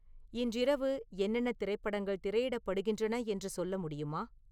இன்றிரவு என்னென்ன திரைப்படங்கள் திரையிடப்படுகின்றன என்று சொல்ல முடியுமா